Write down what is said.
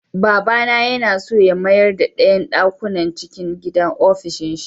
Baba yana so ya mayarda ɗayan ɗakunan cikin gida ofishinsa.